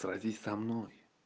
сразись со мной